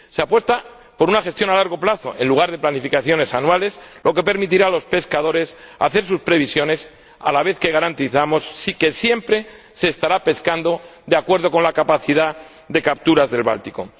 Se apuesta por una gestión a largo plazo en lugar de por planificaciones anuales, lo que permitirá a los pescadores hacer sus previsiones a la vez que garantizamos que siempre se pesque de acuerdo con la capacidad de capturas del Báltico.